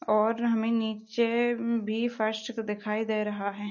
और हमे नीचे मं भी फर्श दिखाई दे रहा है।